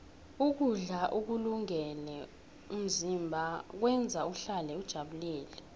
ukudla ukulungele umzimba kwenza uhlale ujabulile